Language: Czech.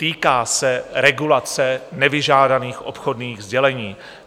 Týká se regulace nevyžádaných obchodních sdělení.